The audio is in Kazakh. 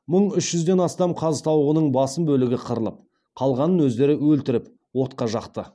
мың үш жүзден астам қаз тауығының басым бөлігі қырылып қалғанын өздері өлтіріп отқа жақты